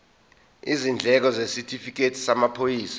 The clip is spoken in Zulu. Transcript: izindleko isitifikedi samaphoyisa